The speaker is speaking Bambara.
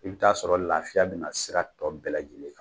I bi t'a sɔrɔ lafiya bina sira tɔ bɛɛ lajɛlen kan